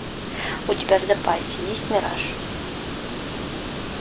у тебя в запасе есть мираж